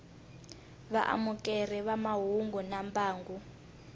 vaamukeri va mahungu na mbangu